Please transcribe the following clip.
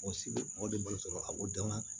Mɔgɔ si bɛ mɔ de bali a bɔ dama na